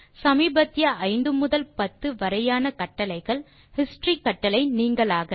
சமீபத்திய 5 முதல் 10 வரையான கட்டளைகள் ஹிஸ்டரி கட்டளை நீங்கலாக